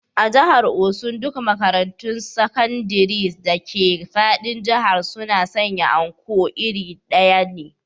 A jihar osun duk makarantun sakandire dake fadin jihar suna sanya Anko iri ɗaya ne